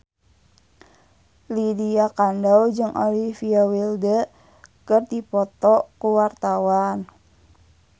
Lydia Kandou jeung Olivia Wilde keur dipoto ku wartawan